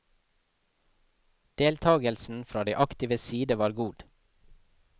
Deltakelsen fra de aktives side var god.